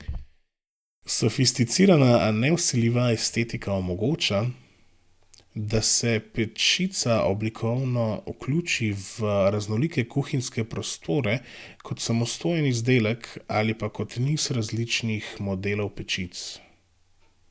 Sofisticirana, a nevsiljiva estetika omogoča, da se pečica oblikovno vključi v raznolike kuhinjske prostore kot samostojen izdelek ali pa kot niz različnih modelov pečic.